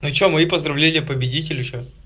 ну че мои поздравления победителю че